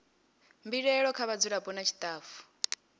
mbilaelo kha vhadzulapo nna tshitafu